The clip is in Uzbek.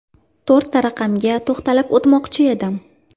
To‘rtta raqamga to‘xtalib o‘tmoqchi edim.